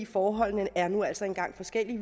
forholdene er nu altså engang forskellige i